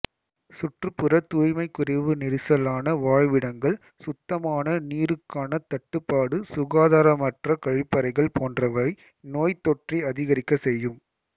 சுற்றுப்புற தூய்மை குறைவு நெரிசலான வாழ்விடங்கள் சுத்தமான நீருக்கான தட்டுப்பாடு சுகாதாரமற்ற கழிப்பறைகள் போன்றவை நோய்த்தொற்றை அதிகரிக்க செய்யும்